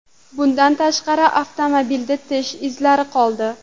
Bundan tashqari, avtomobilda tish izlari qoldi.